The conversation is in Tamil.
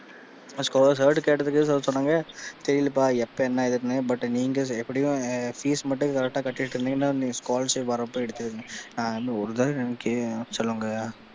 அவர்ட கேட்டதுக்கு sir சொன்னாங்க தெரியலைப்பா எப்ப என்னதுன்னு but நீங்க எப்படியும் Fees மட்டும் correct ஆ கட்டிட்டு இருந்தீங்கன்னா நீங்க scholarship வர்றப்ப எடுத்துக்கோங்க நான் இன்னும் ஒரு தடவ சொல்லுங்க.